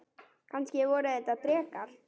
Kannski voru þetta drekar?